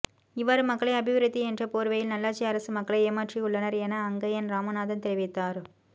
இவ்வாறு மக்களை அபிவிருத்தி என்ற போர்வையில் நல்லாட்சி அரசு மக்களை ஏமாற்றியுள்ளனர் என அங்கயன் இராமநாதன் தெரிவித்தார்